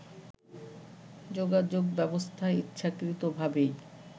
যোগাযোগ ব্যবস্থা ইচ্ছাকৃতভাবেই